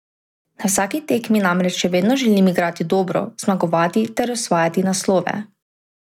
Na vsaki tekmi namreč še vedno želim igrati dobro, zmagovati ter osvajati naslove.